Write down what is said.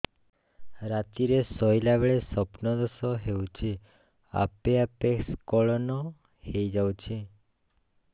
ରାତିରେ ଶୋଇଲା ବେଳେ ସ୍ବପ୍ନ ଦୋଷ ହେଉଛି ଆପେ ଆପେ ସ୍ଖଳନ ହେଇଯାଉଛି